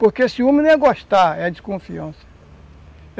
Porque ciúme não é gostar, é desconfiança.